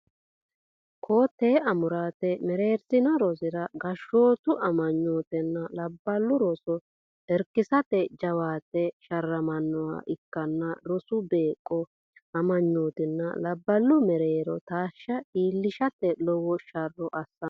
Koo tee amuraate mereersino rosira gashshootu meyatenna labballu roso irkisate jawaate sharramannoha ikkanna rosu beeqqo meyatenna labballu mereero taashshe iillishshate lowo sharro assanno.